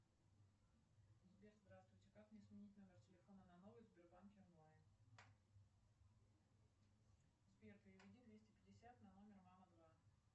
сбер здравствуйте как мне сменить номер телефона на новый в сбербанке онлайн сбер переведи двести пятьдесят на номер мама два